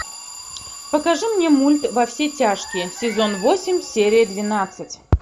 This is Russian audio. покажи мне мульт во все тяжкие сезон восемь серия двенадцать